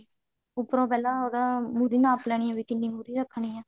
ਉੱਪਰੋਂ ਪਹਿਲਾਂ ਉਹਦਾ ਮੁਰ੍ਹੀ ਨਾਪ ਲੈਣੀ ਹੈ ਵੀ ਕਿੰਨੀ ਮੁਰ੍ਹੀ ਰੱਖਣੀ ਹੈ